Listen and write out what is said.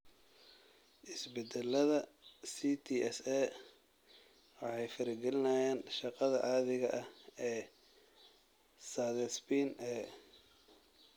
Isbeddellada CTSA waxay farageliyaan shaqada caadiga ah ee cathepsin A.